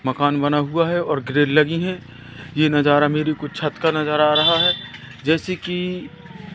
मकान बना हुआ है और ग्रिल लगी है ये नजारा मेरी कुछ छत का नजारा आ रहा है जैसे कि--